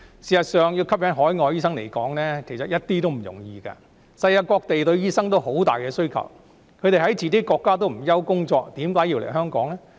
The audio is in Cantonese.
事實上，要吸引海外醫生來港執業毫不容易，世界各地都對醫生有龐大需求，他們在自己國家也不愁沒有工作，為何要來港執業呢？